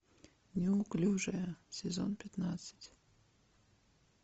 неуклюжая сезон пятнадцать